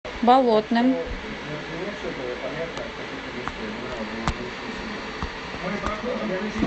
болотным